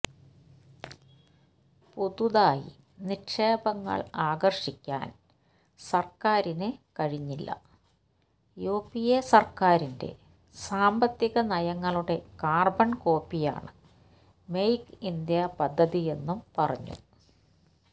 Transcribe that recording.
പുതുതായി നിക്ഷേപങ്ങൾ ആകർഷിക്കാൻ സർക്കാരിന് കഴിഞ്ഞില്ല യുപിഎ സർക്കാരിന്റെ സാമ്പത്തികനയങ്ങളുടെ കാർബൺ കോപ്പിയാണ് മെയ്ക്ക് ഇന്ത്യ പദ്ധതിയെന്നും പറഞ്ഞു